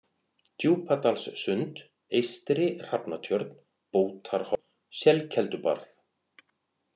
Djúpadalssund, Eystri-Hrafnatjörn, Bótarhorn, Selkeldubarð